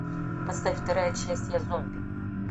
поставь вторая часть я зомби